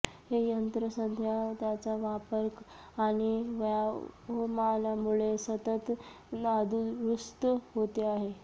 हे यंत्र सध्या त्याचा वापर आणि वयोमानामुळे सतत नादुरुस्त होते आहे